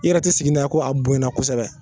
I yɛrɛ te sigi n'a ye ko a bonyana kosɛbɛ